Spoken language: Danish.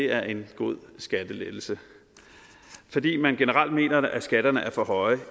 er en god skattelettelse fordi man generelt mener at skatterne er for høje